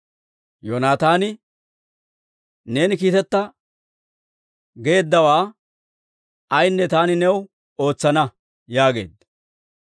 Yoonataani, «Neeni kiiteta geeddawaa ayaanne taani new ootsana» yaageedda.